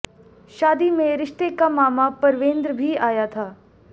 शादी में रिश्ते का मामा परवेंद्र भी आया था